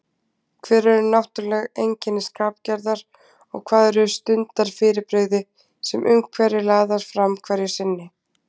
Hver eru náttúrleg einkenni skapgerðar og hvað eru stundarfyrirbrigði, sem umhverfi laðar fram hverju sinni?